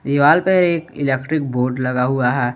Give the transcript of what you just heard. दीवाल पर एक इलेक्ट्रिक बोर्ड लगा हुआ है।